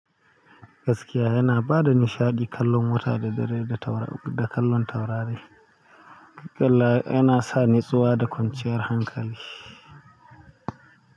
Gaskiya yana ba da nishaɗi, kallon wuta da dare da taurari, da kallon taurari wallahi yana sa natsuwa da kwanciyar hankali.